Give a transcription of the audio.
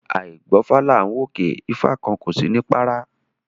A àí gbọ́fá là ń wòkè, ifá kan kò sí ní párá